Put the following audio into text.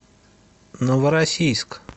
новороссийск